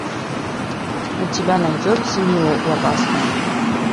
у тебя найдется милая и опасная